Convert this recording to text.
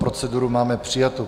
Proceduru máme přijatu.